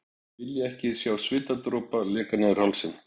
Vilja ekki sjá svitadropana leka niður hálsinn.